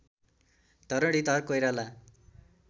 Dharanidhar Koirala